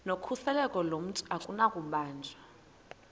nokhuseleko lomntu akunakubanjwa